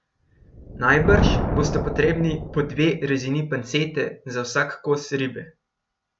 Najbrž bosta potrebni po dve rezini pancete za vsak kos ribe.